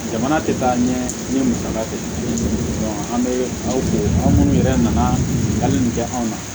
Jamana tɛ taa ɲɛ n ye musaka sɔrɔ an bɛ aw fɛ yen aw minnu yɛrɛ nana hali ni kɛ anw na